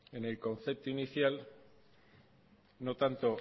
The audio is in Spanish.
en el concepto inicial no tanto